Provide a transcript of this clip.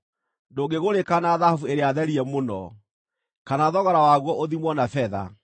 Ndũngĩgũrĩka na thahabu ĩrĩa therie mũno, kana thogora waguo ũthimwo na betha.